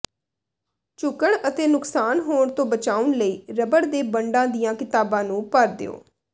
ਝੁਕਣ ਅਤੇ ਨੁਕਸਾਨ ਹੋਣ ਤੋਂ ਬਚਾਉਣ ਲਈ ਰਬੜ ਦੇ ਬੰਡਾਂ ਦੀਆਂ ਕਿਤਾਬਾਂ ਨੂੰ ਭਰ ਦਿਓ